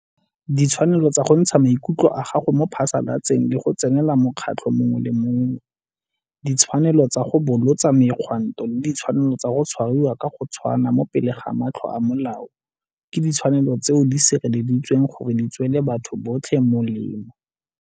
Ditshwanelo tsa go ntsha maikutlo a gago mo phasalatseng le go tsenela mokgatlo mongwe le mongwe, ditshwanelo tsa go bolotsa megwanto le ditshwanelo tsa go tshwariwa ka go tshwana mo pele ga matlho a molao ke ditshwanelo tseo di sireleditsweng gore di tswele batho botlhe molemo.